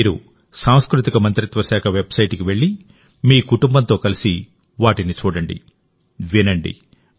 మీరు సాంస్కృతిక మంత్రిత్వ శాఖ వెబ్సైట్కి వెళ్లి మీ కుటుంబంతో కలిసి వాటిని చూడండి వినండి